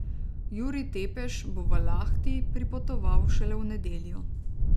Jurij Tepeš bo v Lahti pripotoval šele v nedeljo.